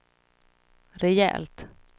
rejält